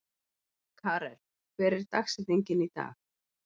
Karel, hver er dagsetningin í dag?